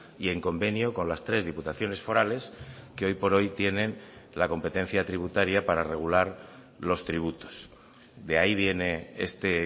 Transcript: y en convenio con las tres diputaciones forales que hoy por hoy tienen la competencia tributaria para regular los tributos de ahí viene este